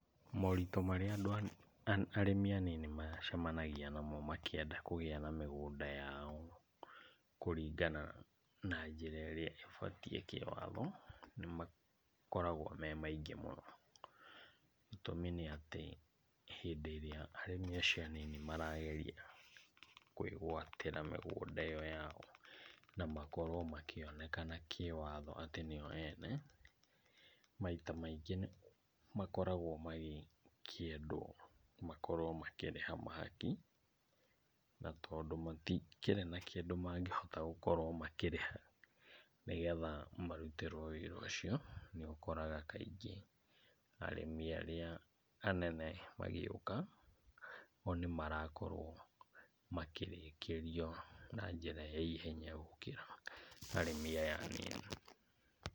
Moritũ marĩa andũ arĩmi anini macemanagia namo makĩenda kũgĩa na mĩgũnda yao kũringana na njĩra ĩrĩa ĩbatiĩ kĩ watho, nĩmakoragwo me maingĩ mũno. Gĩtũmi nĩatĩ, hĩndĩ ĩrĩa arĩmi acio anini marageria kwĩguatira mĩgũnda ĩyo yao na makorwo makĩonekana kĩ watho atĩ nĩo ene, maita maingĩ nĩmakoragwo magĩkĩendwo makorwo makĩrĩha mahaki, na tondũ matikĩrĩ na kĩndũ mangĩhota gũkorwo makĩrĩha nĩgetha marutĩrwo wĩra ũcio nĩũkora kaingĩ, arĩmi arĩa anene magĩũka o nĩmarakorwo makĩrĩkĩrio na njĩra ya ihenya gũkĩra arĩmi aya anini.